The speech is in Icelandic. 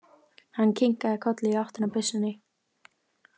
Hann kinkaði kolli í áttina að byssunni.